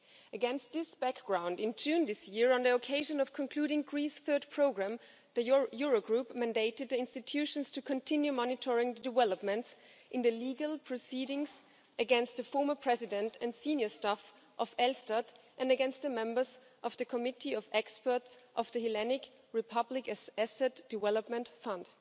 Against this background, in June this year, on the occasion of concluding Greece's Third Programme, the Eurogroup mandated the institutions to continue monitoring developments in the legal proceedings against the former President and senior staff of ELSTAT and against the members of the Committee of Experts of the Hellenic Republic Asset Development Fund.